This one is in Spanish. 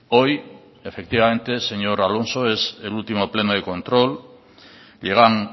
hoy efectivamente señor alonso es el último pleno de control llegan